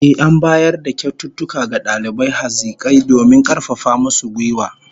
Ehh, an bayar da kyaututtuka ga dalibai hazikai domin karfafa musu gwiwa